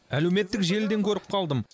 әлеуметтік желіден көріп қалдым